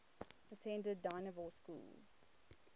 attended dynevor school